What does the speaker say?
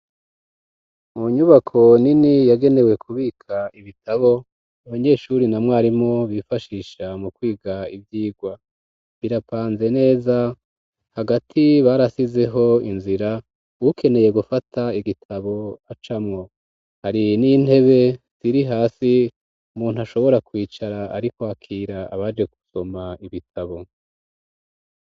Mu nyubako nini yagenewe kubika ibitabo abanyeshure na mwarimu bifashisha mu kwiga ivyigwa birapanze neza hagati barasizeho inzira ukeneye gufata igitabo acamwo hari n'intebe iri hasi umuntu ashobora kwicara ariko arakira abaje kusoma ibitabo.